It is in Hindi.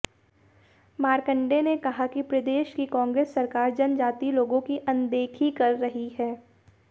मारकंडे ने कहा कि प्रदेश की कांग्रेस सरकार जनजातीय लोगों की अनदेखी कर रही है